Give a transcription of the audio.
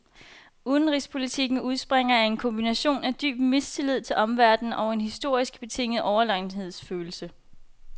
Udenrigspolitikken udspringer af en kombination af dyb mistillid til omverdenen og en historisk betinget overlegenhedsfølelse.